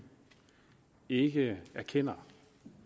ikke erkender